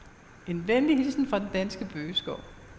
En venlig hilsen fra den danske bøgeskov.